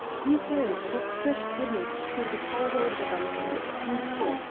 күн сайын қоқыс жәшіктерінен күшіктерді тауып алып жатамыз сұмдық қой